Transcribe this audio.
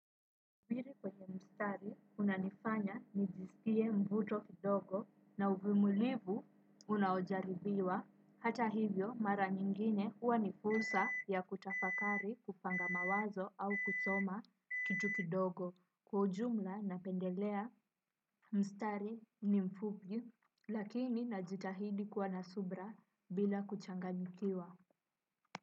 Pili kwenye mstari unanifanya nijisikie mvuto kidogo na uvimulivu unaojaribiwa hata hivyo mara nyingine huwa ni fursa ya kutafakari kupanga mawazo au kusoma kitu kidogo kwa ujumla napendelea mstari ni mfupi lakini najitahidi kuwa nsubira bila kuchanganyikiwa.